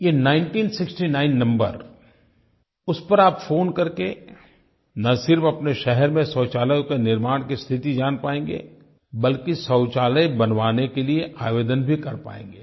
ये 1969 नंबर उस पर आप फ़ोन करके न सिर्फ़ अपने शहर में शौचालयों के निर्माण की स्थिति जान पाएँगे बल्कि शौचालय बनवाने के लिए आवेदन भी कर पाएँगे